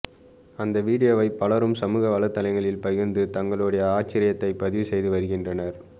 அந்த வீடியோவை பலரும் சமூக வலைத்தளங்களில் பகிர்ந்து தங்களுடைய ஆச்சரியத்தை பதிவு செய்து வருகின்றனர்